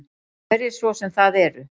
Hverjir svo sem það eru.